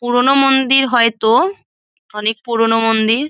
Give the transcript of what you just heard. পুরোনো মন্দির হয়তো অনেক পুরোনো মন্দির।